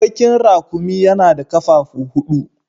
Bakin raƙumi yana da ƙafafu huɗu.